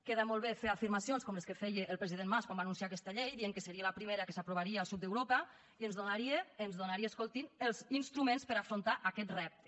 queda molt bé fer afirmacions com les que feia el president mas quan va anunciar aquesta llei dient que seria la primera que s’aprovaria al sud d’europa i ens donaria ens donaria escoltin els instruments per afrontar aquest repte